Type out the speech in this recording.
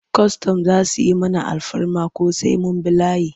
Kwastam za su yi mana alfarma ko sai mun bi layi?